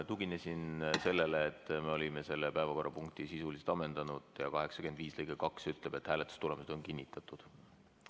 Tuginesin sellele, et me olime selle päevakorrapunkti sisuliselt ammendanud ja § 85 lõige 2 ütleb, et hääletustulemused on kinnitatud.